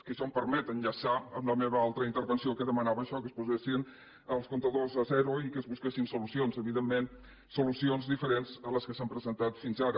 que això em permet enllaçar amb la meva altra intervenció que demanava això que es posessin els comptadors a zero i que es busquessin solucions evidentment solucions diferents a les que s’han presentat fins ara